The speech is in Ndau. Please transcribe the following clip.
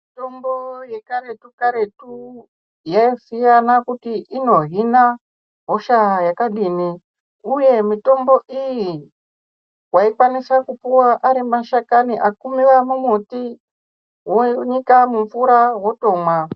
Mitombo yekaretu karetu yasiyana kuti inohina hosha yakadini uye mitombo iyi waikwanisa kupuwa arimashakani akuwiwa mumuti wonyika mumvura wotomwa.